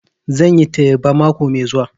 Zan yi teba mako mai zuwa